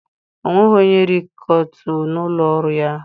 onweghi onye rekitoo no n'ulo oru ya?